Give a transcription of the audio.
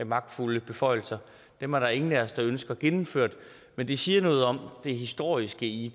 magtfulde beføjelser og dem er der ingen af os der ønsker gennemført men det siger noget om det historiske i